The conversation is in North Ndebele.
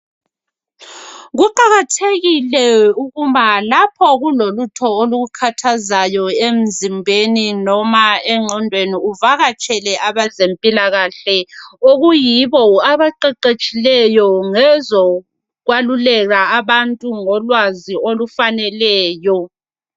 kuqakathekile uma lapho kulolutho olukukhathazayo emzimbeni loba enqondweni uvakatshele abezempilakahle okuyibo abaqeqetshileyo ngezokwalulela abantu ngolwazi olufaneleyo